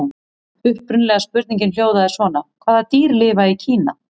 Upprunalega spurningin hljóðaði svona: Hvaða dýr lifa í Kína?